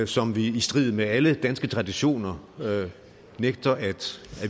som vi i strid med alle danske traditioner nægter at